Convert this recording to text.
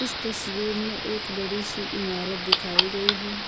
तस्वीर में एक बड़ी सी इमारत दिखाई गई है।